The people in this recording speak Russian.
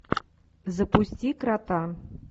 запусти крота